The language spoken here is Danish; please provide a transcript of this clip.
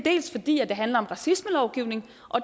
handler om racismelovgivningen